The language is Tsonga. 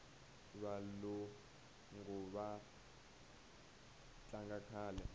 valungu va tlanga kahle